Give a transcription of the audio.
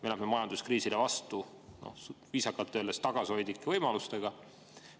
Me läheme majanduskriisile vastu viisakalt öeldes tagasihoidlike võimalustega.